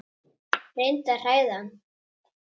Reyndi að hræða hann.